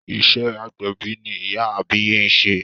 Iṣẹ́ agbẹ̀bí ni ìyá àbíyè ń ṣe.